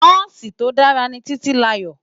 Nòsi tó dàrá Titilayo